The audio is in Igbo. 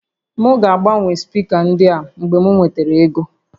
M ga-agbanwe spika ndị a mgbe m nwere ego